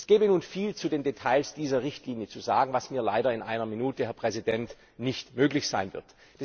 Es gäbe nun viel zu den Details dieser Richtlinie zu sagen, was mir leider in einer Minute nicht möglich sein wird.